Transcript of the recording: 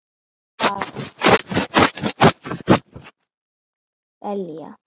Það var bara þetta: Ég er manneskja en ekki belja.